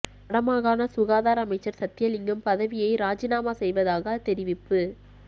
வட மாகாண சுகாதார அமைச்சர் சத்தியலிங்கம் பதிவியை இராஜினாமா செய்வதாக தெரிவிப்பு